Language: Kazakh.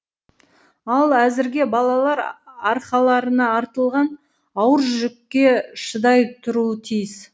ал әзірге балалар арқаларына артылған ауыр жүкке шыдай тұруы тиіс